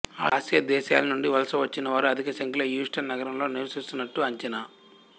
Asia దేశాలనుండి వలస వచ్చినవారు అధికసంఖ్యలో హ్యూస్టన్ నగరంలో నివసిస్తున్నటు అంచనా